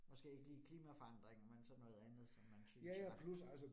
Måske ikke lige klimaforandringer, men så noget andet, som man synes at